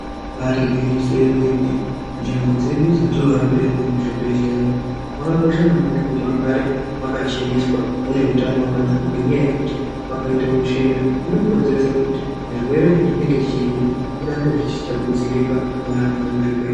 Ibaari gwinyiso yemene. Nzvimbo dzedu dzatinorapirwa muzvibhedhlera umu, makakosha maningi kuti mugare makacheneswa mune utano hwakanaka ngenyaya yekuti vakaita utsvina nokonzeresa kuti zvirwere zvatinenge tichinzwa urambe huchitapudzirika muantu ari muzvibhedhlera.